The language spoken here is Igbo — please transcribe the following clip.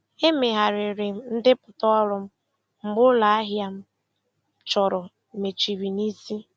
Emegharịrị m ndepụta ọrụ m mgbe ụlọ ahịa m chọrọ mechiri n'isi.